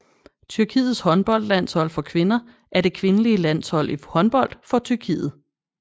Tyrkiets håndboldlandshold for kvinder er det kvindelige landshold i håndbold for Tyrkiet